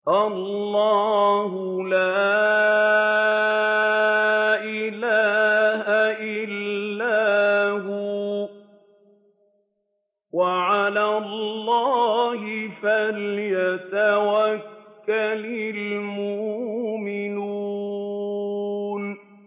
اللَّهُ لَا إِلَٰهَ إِلَّا هُوَ ۚ وَعَلَى اللَّهِ فَلْيَتَوَكَّلِ الْمُؤْمِنُونَ